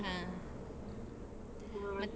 ಹಾ, ಮತ್ತೆ?